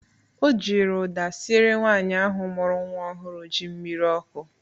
O jiri ụda sịere nwaanyị ahụ mụrụ nnwa ọhụrụ ji mmiri ọkụ